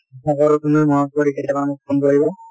তুমি মনত কৰি কেতিয়াবা মোক phone কৰিবা।